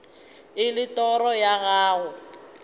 e le toro ya gago